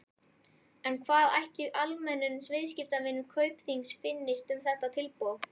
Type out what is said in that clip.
En hvað ætli almennum viðskiptavinum Kaupþings finnist um þetta tilboð?